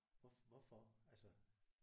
Hvorfor altså